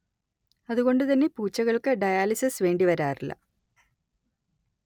അതുകൊണ്ട് തന്നെ പൂച്ചകൾക്ക് ഡയാലിസിസ് വേണ്ടി വരാറില്ല